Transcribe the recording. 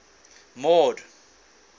mord